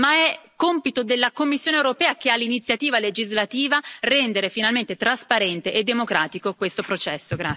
Ma è compito della Commissione europea, che ha l'iniziativa legislativa, rendere finalmente trasparente e democratico questo processo.